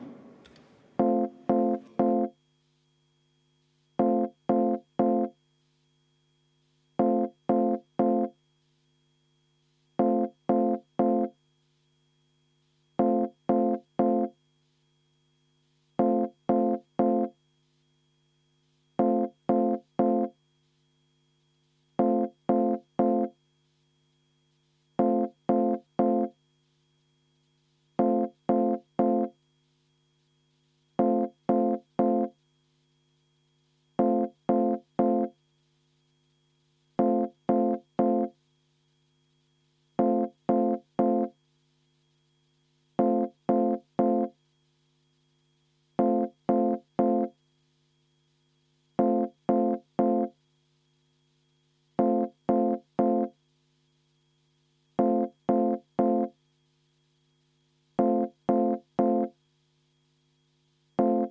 Lugupeetud Riigikogu liikmed, panen hääletusele Eesti Keskerakonna fraktsiooni ettepaneku kohaliku omavalitsuse volikogu valimise seaduse muutmise seaduse eelnõu 544 esimesel lugemisel tagasi lükata.